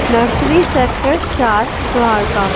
Nursery sector चार द्वारका।